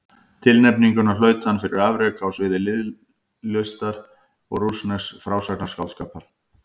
Tilnefninguna hlaut hann fyrir afrek á sviði ljóðlistar og rússnesks frásagnarskáldskapar.